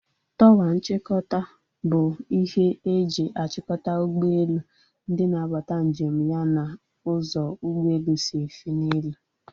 Tọwa nchịkọta bụ ihe e ji achikota ụgbọelu, ndị na-abata njem ya na ụzọ ụgbọelu si efe n'elu